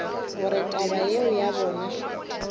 gore taba yeo ya bona